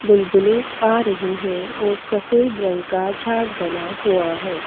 Bull बुले आ रहै हैं और सफ़ेद रंग का झाग बना हुआ है।